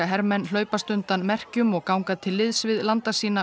hermenn hlaupast undan merkjum og ganga til liðs við landa sína